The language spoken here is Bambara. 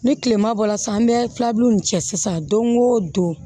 Ni kilema bɔla san bɛ filaburu in cɛ sisan don o don